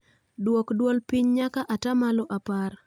Dwok dwol piny nyaka ataamalo apar